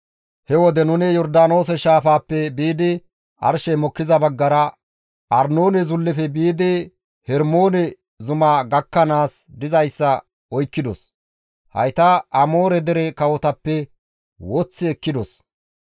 He wode nuni Yordaanoose shaafaappe biidi arshey mokkiza baggara, Arnoone zullefe biidi Hermoone zuma gakkanaas dizayssa oykkidos; hayta Amoore dere kawotappe woththi ekkidos.